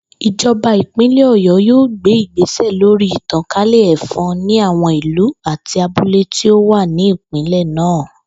Ìjò̩ba ìpínlè̩ Ò̩yó̩ yóò gbé ìgbésè̩ lórí ìtàkálè̩ è̩fo̩n ní àwo̩n ìlú àti abúlé tí ó wà ní ìpínlè̩ náà